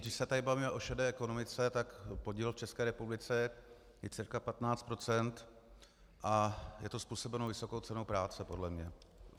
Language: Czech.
Když se tu bavíme o šedé ekonomice, tak podíl v České republice je cca 15 % a je to způsobeno vysokou cenou práce, podle mě.